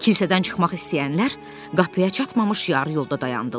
Kilsədən çıxmaq istəyənlər qapıya çatmamış yarı yolda dayandılar.